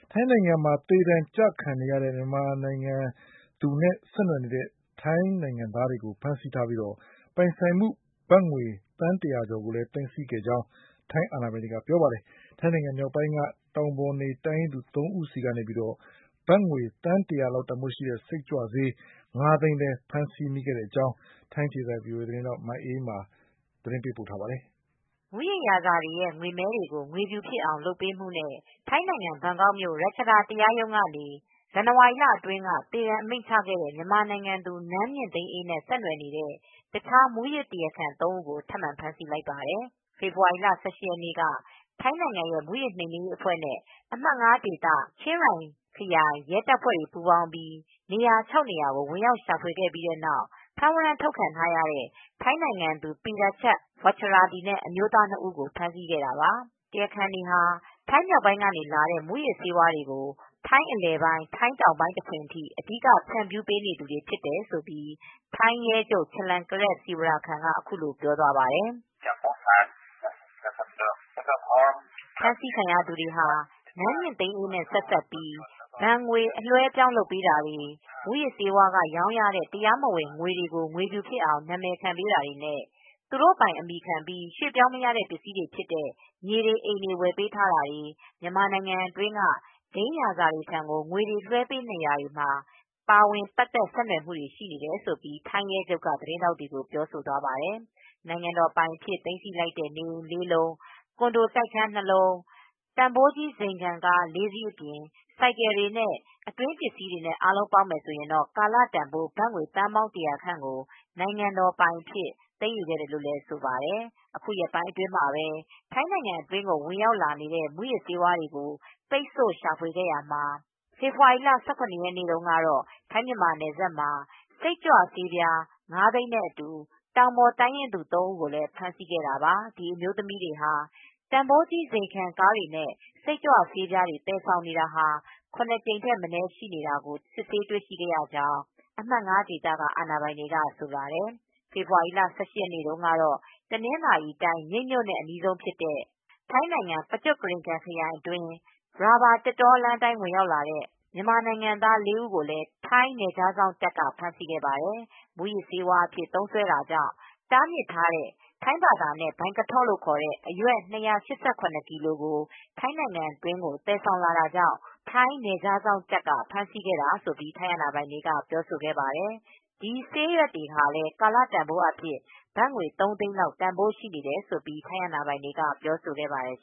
ထိုင်းနိုင်ငံမှာ သေဒဏ်ကျခံနေရတဲ့ မြန်မာအမျိုးသမီးနဲ့ ဆက်နွယ်နေတဲ့ ထိုင်းနိုင်ငံသားများအား ဆက်လက်ဖမ်းဆီးပြီး ပိုင်ဆိုင်မှု ဘတ်သန်း ၁၀၀ ကျော် သိမ်းဆည်းခဲ့ကြောင်း ထိုင်းအာဏာပိုင်တွေက ပြောဆိုပါတယ်။ ဒါ့အပြင် ထိုင်းမြောက်ပိုင်းက တောင်ပေါ်တိုင်းရင်းသူ ၃ ဦးကိုလည်း ကာလ ပေါက်ဈေး ဘတ်ငွေသန်း ၁၀၀ လောက်တန်ဖိုးရှိတဲ့ စိတ်ကြွဆေး ၅ သိန်း ဖမ်းမိခဲ့ပါတယ်။ ထိုင်းအခြေစိုက် VOA သတင်းထောက် မအေးအေးမာကသတင်းပေးပို့ထားပါတယ်။ မူးယစ်ဂိုဏ်းတွေရဲ့ ငွေမဲတွေကို ငွေဖြူဖြစ်အောင် လုပ်ပေးမှုနဲ့ ထိုင်းနိုင်ငံ ဘန်ကောက်မြို့ ရချဒါ တရားရုံးကနေ ဇန်နဝါရီလအတွင်းက သေဒဏ် အမိန့် ချခဲ့တဲ့ မြန်မာအမျိုးသမီး နန်းမြင့်သိန်းအေးနဲ့ ဆက်စပ်မှုရှိတဲ့ တခြား မူးယစ်တရားခံ ၃ ဦးကို ထပ်မံဖမ်းဆီးလိုက်ပါတယ်။ ဖေဖေါ်ဝါရီလ ၁၈ ရက်နေ့က ထိုင်းမူးယစ်နှိမ်နင်းအဖွဲ့နဲ့ အမှတ် ဒေသ ချင်းရိုင်ခရိုင် ရဲတပ်ဖွဲ့တွေပူးပေါင်းပြီး နေရာ ၆ နေရာကို ဝင်ရောက်ရှာဖွေခဲ့ပြီး ဖမ်းဝရမ်းထုတ်ခံထားရတဲ့ ထိုင်းနိုင်ငံသူ ပီယာချပ် ဝပ်ချဒါဒီနဲ့ အမျိုးသား ၂ ဦးကို ဖမ်းဆီးနိုင်ခဲ့တာပါ။ တရားခံတွေဟာ ထိုင်းမြောက်ပိုင်းက လာတဲ့ မူးယစ်ဆေးတွေကို ထိုင်းအလယ်ပိုင်း၊ တောင်ပိုင်း တခွင်ဆီ အဓိက ဖြန့်ပေးနေသူတွေဖြစ်တယ်လို့ထိုင်းရဲချုပ် ချလန်ကရက် စီဝါရာခန်က အခုလိုပြောဆိုသွားပါတယ်။ ဖမ်းဆီးခံရသူတွေဟာ နန်းမြင့်သိန်းအေးနဲ့ ဆက်စပ်ပြီး ဘဏ်ငွေ အလွဲှအပြောင်းလုပ်တာတွေနဲ့ မူးယစ်ဆေးရောင်းရတဲ့ တရားမဝင်ငွေတွေကို ငွေဖြူဖြစ်အောင် နာမည်ခံပေးတာတွေ၊ သူတို့ပိုင်အမည်ခံပြီး ရွှေ့ပြောင်းမရတဲ့ ပစ္စည်းတွေဖြစ်တဲ့ မြေတွေ၊ အိမ်တွေ၊ ဝယ်ထားတာတွေ မြန်မာနိုင်ငံအတွင်းက ဘိန်းမှောင်ခိုဂိုဏ်းခေါင်းဆောင်တွေထံကို ငွေတွေ လွှဲပေးနေတာတွေမှာ ပတ်သက်ဆက်နွယ်မှုတွေ ရှိနေတာဖြစ်တယ်လို့ ထိုင်းရဲချုပ်က သတင်းထောက်တွေကို ပြောကြားခဲ့ပါတယ်။ နိုင်ငံတော်ပိုင်အဖြစ် သိမ်းဆည်းလိုက်တဲ့ နေအိမ် ၄ လုံး၊ ကွန်ဒိုတိုက်ခန်း ၂ လုံး၊ တန်ဖိုးကြီး ဇိမ်ခံကား ၄ စီးအပြင် ဆိုင်ကယ်တွေနဲ့ အတွင်းပစ္စည်းနဲ့ ကာလတန်ဖိုး ဘတ်သန်းပေါင်း ၁၀၀ ခန့်ကို နိုင်ငံတော်ပိုင်အဖြစ် သိမ်းယူခဲ့တယ်လို့ဆိုပါတယ်။ အခုရက်ပိုင်းအတွင်းမှာပဲ ထိုင်းနိုင်ငံအတွင်းကို ဝင်ရောက်လာနေတဲ့ မူးယစ်ဆေးတွေကို ပိတ်ဆို့ ရှာဖွေနေရာမှာ ဖေဖေါ်ဝါရီလ ၁၇ ရက်နေ့ကတော့ ထိုင်းမြန်မာနယ်စပ်မှာ စိတ်ကြွဆေး ၅၀၀၀၀၀ နဲ့ အတူ တောင်ပေါ်တိုင်းရင်းသူ သုံးဦးကို ဖမ်းဆီးနိုင်ခဲ့တာပါ။ ဒီအမျိုးသမီးတွေဟာ တန်ဖိုးကြီး ဇိမ်ခံကားတွေနဲ့ စိတ်ကြွဆေးတွေ သယ်ဆောင်နေတာ ၇ ကြိမ် ထက်မနည်း ရှိနေတာကို စစ်ဆေးတွေ့ရှိခဲ့တယ်လို့ အမှတ် ဒေသက အာဏာပိုင်တွေက ဆိုပါတယ်။ ဖေဖေါ်ဝါရီလ ၁၈ ရက်နေ့ကတော့ တနင်္သာရီတိုင်း မြိတ်မြို့နဲ့ အနီးဆုံး ထိုင်းနိုင်ငံ ပကျော့ခီရီခန် ခရိုင်အတွင်း ရာဘာသစ်တောလမ်းအတိုင်း ဝင်ရောက်လာတဲ့ မြန်မာနိုင်ငံသား လေးဦးကိုလည်း ထိုင်းနယ်ခြားစောင့်တပ်က ဖမ်းဆီးခဲ့ပါတယ်။ မူးယစ်ဆေးဝါးအဖြစ် သုံးစွဲမှုကြောင့် တားမြစ်ထားတဲ့ ထိုင်းဘာသာနဲ့ လို့ခေါ်တဲ့ ဆေးရွက်၂၈၇ ကီလိုကို ထိုင်းနိုင်ငံတွင်း သယ်ဆောင်လာတာကြောင့် ထိုင်းနယ်ခြားစောင့်တပ်က ဖမ်းဆီးခဲ့တယ်လို့ ထိုင်းအာဏာပိုင်တွေကပြောဆိုခဲ့ပါတယ်။ ဒီဆေးရွက်တွေကလည်း ကာလပေါက်ဈေးဘတ်ငွေ ၃သိန်းလောက် တန်ဖိုးရှိတယ်လို့ ထိုင်းအာဏာပိုင်တွေက ပြောဆိုခဲ့ပါတယ်